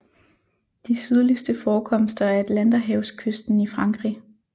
De sydligste forekomster er Atlanterhavskysten i Frankrig